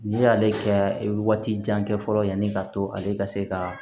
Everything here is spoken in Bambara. N'i y'ale kɛ i bɛ waati jan kɛ fɔlɔ yanni ka to ale ka se ka